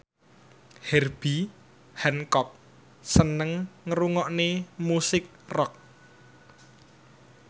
Herbie Hancock seneng ngrungokne musik rock